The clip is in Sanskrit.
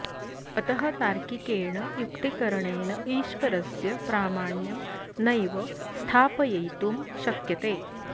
अतः तार्किकेण युक्तिकरणेन ईश्वरस्य प्रामाण्यं नैव स्थापयितुं शक्यते